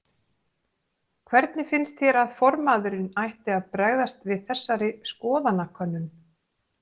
Hvernig finnst þér að formaðurinn ætti að bregðast við þessari skoðanakönnun?